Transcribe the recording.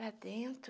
Lá dentro...